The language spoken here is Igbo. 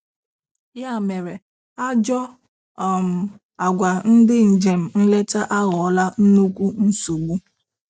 Ya mere, Ajọọ um agwa ndị njem nleta aghọọla nnukwu nsogbu.